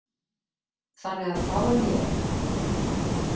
Þannig að þá er ég.